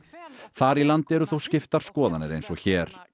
þar í landi eru þó skiptar skoðanir eins og hér